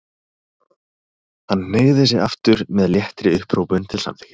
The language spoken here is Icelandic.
Hann hneigði sig aftur með léttri upphrópun til samþykkis.